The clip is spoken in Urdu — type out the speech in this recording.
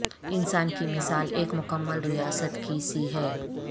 انسان کی مثال ایک مکمل ریاست کی سی ہے